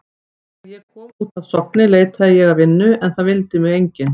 Þegar ég kom út af Sogni leitaði ég að vinnu en það vildi mig enginn.